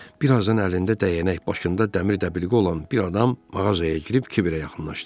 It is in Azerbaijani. Bir azdan əlində dəyənək, başında dəmir dəbilqə olan bir adam mağazaya girib Kibirə yaxınlaşdı.